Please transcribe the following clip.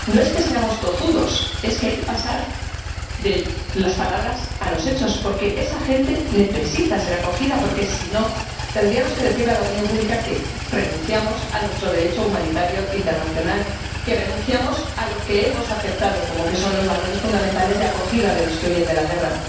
Señor Ujazdowski, lo importante es buscar soluciones. No es que seamos tozudos, es que hay que pasar de las palabras a los hechos, porque esa gente necesita ser acogida. Porque, si no, tendríamos que decir a la opinión pública que renunciamos a nuestro Derecho humanitario internacional, que renunciamos a lo que hemos aceptado, como son los valores fundamentales de acogida de los que huyen de la guerra.